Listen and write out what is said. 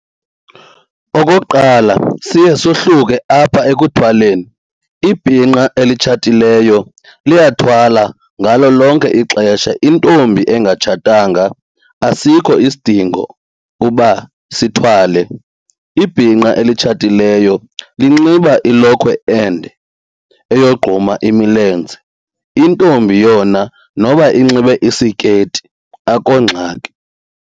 Okokuqala, siye sohluke apha ekuthwaleni. Ibhinqa elitshatileyo liyathwala ngalo lonke ixesha. Intombi engatshatanga asikho isidingo uba sithwale. Ibhinqa elitshatileyo linxiba ilokhwe ende eyogquma imilenze. Intombi yona noba inxibe isiketi akho ngxaki.